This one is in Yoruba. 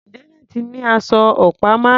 Janet ní aṣọ ọ̀pá márùn-ún.